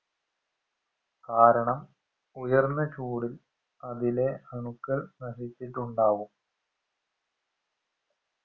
കാരണം ഉയർന്നചൂട് അതിലെ അണുക്കൾ നശിച്ചിട്ടുണ്ടാവും